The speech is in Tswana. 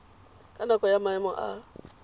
ka nako ya maemo a